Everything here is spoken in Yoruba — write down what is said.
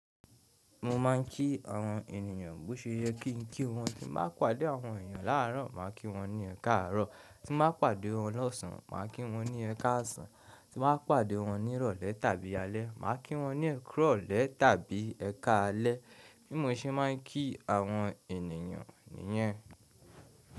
Mo máa ń kí àwọn ènìyàn bó ṣe yẹ kí n kí wọn. Tí màá pàdé àwọn èèyàn láàárọ̀, màá kí wọn ní “ẹkáàárọ̀”, tí màá pàdé wọn lọ́sàn, màá kí wọn ní “ẹkáàsán”, tí màá pàdé wọn ní ìrọ̀lẹ́ tàbí alẹ́, màá kí wọn ní “ẹkààrọ̀lẹ́” tàbí “ẹkàalẹ́”. Bí mo ṣe máa ń kí àwọn ènìyàn nìyẹn.